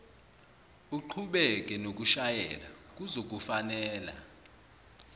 uqhubeke nokushayela kuzokufanela